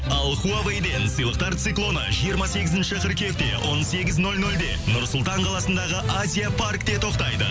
ал хуавейден сыйлықтар циклоны жиырма сегізінші қыркүйекте он сегіз нөл нөлде нұр сұлтан қаласындағы азия паркте тоқтайды